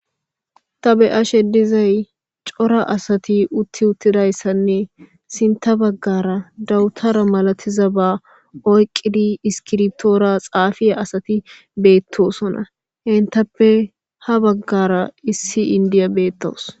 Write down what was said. tabe7ashe dizay cora asati utti uttidayssanne sinta baggara dawutara malatiza ba oyqqidi iskirtoora xaafiya asati beettosona hentappe ha baggara issi indiya beettoos